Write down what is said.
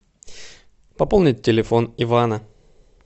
пополнить телефон ивана